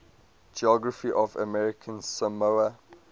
geography of american samoa